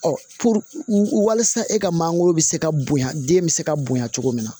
Ɔ walasa e ka mangoro bɛ se ka bonya den bɛ se ka bonya cogo min na